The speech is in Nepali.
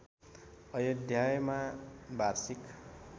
अयोध्यायमा वार्षिक